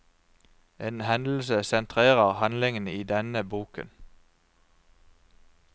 En hendelse sentrerer handlingen i denne boken.